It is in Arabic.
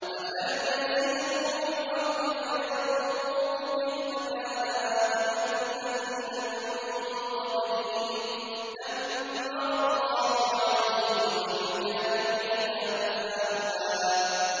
۞ أَفَلَمْ يَسِيرُوا فِي الْأَرْضِ فَيَنظُرُوا كَيْفَ كَانَ عَاقِبَةُ الَّذِينَ مِن قَبْلِهِمْ ۚ دَمَّرَ اللَّهُ عَلَيْهِمْ ۖ وَلِلْكَافِرِينَ أَمْثَالُهَا